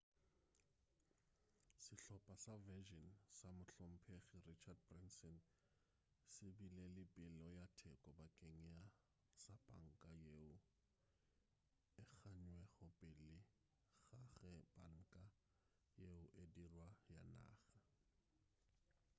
sehlopa sa virgin sa mohlomphegi richard branson se bile le peelo ya theko bakeng sa panka yeo e gannwego pele ga ge panka yeo e dirwa ya naga